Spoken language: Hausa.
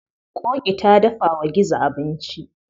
Ƙoƙi ta dafa wa gizo abinci.